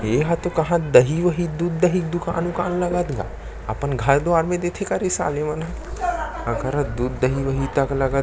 ये हते कहाँ दही वही दूध दही कए दुकान वुकान लगत गा अपन घर दुआर मे देथे कारे साले मन ह अलकरहा दूध दही वही तक लगथे।